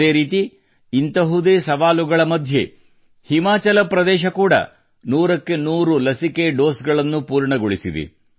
ಅದೇ ರೀತಿ ಇಂಥದೇ ಸವಾಲುಗಳ ಮಧ್ಯೆ ಹಿಮಾಚಲ ಕೂಡಾ ನೂರಕ್ಕೆ ನೂರು ಲಸಿಕೆ ಡೋಸ್ ಗಳನ್ನು ಪೂರ್ಣಗೊಳಿಸಿದೆ